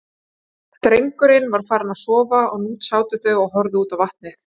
Drengurinn var farinn að sofa og nú sátu þau og horfðu út á vatnið.